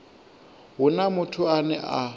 hu na muthu ane a